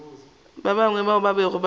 bangwe bao ba bego ba